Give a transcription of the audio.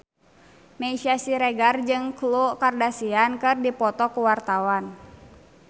Meisya Siregar jeung Khloe Kardashian keur dipoto ku wartawan